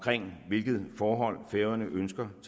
hvilket forhold færøerne ønsker at